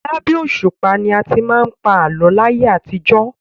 Labẹ́ òṣùpá ni a ti máa ń pa àlọ́ láyé àtijọ́.